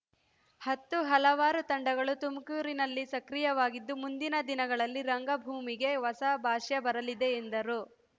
ಹತ್ತು ಹಲವಾರು ತಂಡಗಳು ತುಮಕೂರಿನಲ್ಲಿ ಸಕ್ರಿಯವಾಗಿದ್ದು ಮುಂದಿನ ದಿನಗಳಲ್ಲಿ ರಂಗಭೂಮಿಗೆ ಹೊಸ ಭಾಷ್ಯ ಬರೆಯಲಿದೆ ಎಂದರು